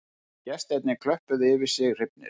Gestirnir klöppuðu yfir sig hrifnir